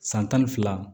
San tan ni fila